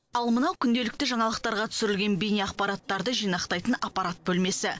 ал мынау күнделікті жаңалықтарға түсірілген бейне ақпараттарды жинақтайтын аппарат бөлмесі